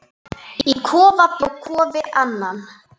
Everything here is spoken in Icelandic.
Fenguð þið gott kaup?